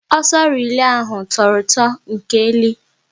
Ọsọ relay ahụ tọrọ ụtọ nkeli